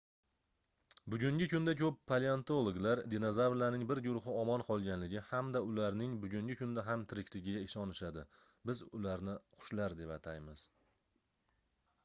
bugungi kunda koʻp paleontologlar dinozavrlarning bir guruhi omon qolganligi hamda ularning bugungi kunda ham tirikligiga ishonishadi biz ularni qushlar deb ataymiz